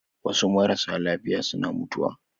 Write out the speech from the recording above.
Wasu marasa lafiya suna mutuwa